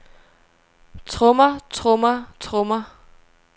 trommer trommer trommer